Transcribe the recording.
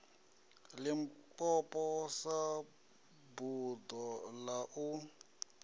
limpopo sa buḓo ḽa u